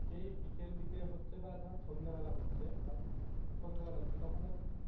যেই বিকেল বিকেল হচ্ছে বা ধর সন্ধ্যেবেলা হচ্ছে বা সন্ধ্যেবেলা হচ্ছে তখন ধর,